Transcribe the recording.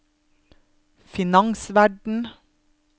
finansverden